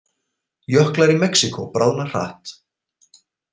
Jöklar í Mexíkó bráðna hratt